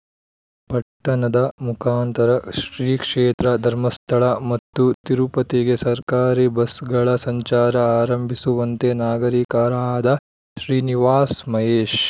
ಪಟ್ಟಣದ ಮುಖಾಂತರ ಶ್ರೀಕ್ಷೇತ್ರ ಧರ್ಮಸ್ಥಳ ಮತ್ತು ತಿರುಪತಿಗೆ ಸರ್ಕಾರಿ ಬಸ್‌ಗಳ ಸಂಚಾರ ಆರಂಭಿಸುವಂತೆ ನಾಗರಿಕರಾದ ಶ್ರೀನಿವಾಸ್‌ ಮಹೇಶ್‌